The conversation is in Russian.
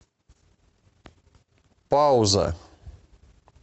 пауза